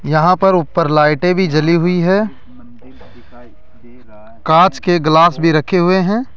यहां पर ऊपर लाइटें भी जली हुई है कांच के ग्लास भी रखे हुए हैं।